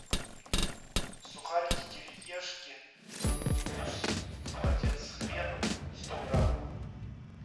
сухарики кириешки вкус холодец с хреном сто грамм